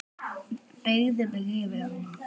Beygði mig yfir hana.